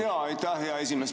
Aitäh, hea esimees!